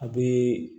A bɛ